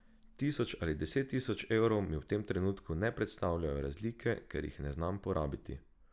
Tisoč ali deset tisoč evrov mi v tem trenutku ne predstavljajo razlike, ker jih ne znam porabiti.